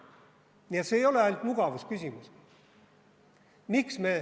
Nii et see ei ole ainult mugavusküsimus.